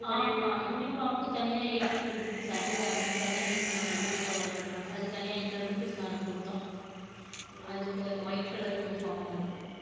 ஆமாம் uniform க்கு தனியா eight hundred rupees அதில்ல அதுக்கு தனியா eight hundred rupees provide பண்ணாங்க அதுக்கு தனியா eight hundred rupees நாங்க குடுத்தோம் அதுக்கு அது white color uniform அதுக்கு